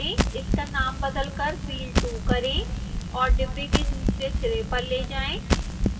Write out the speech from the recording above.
इसका नाम बदलकर wheel2 करें और डिब्बे के दूसरे सिरे पर ले जाएँ